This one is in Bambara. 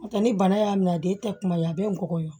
N'o tɛ ni bana y'a minɛ a den tɛ kuma ye a bɛ ngɔbɔn ye